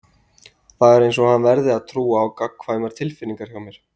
Það er einsog hann verði að trúa á gagnkvæmar tilfinningar hjá mér.